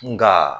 Nka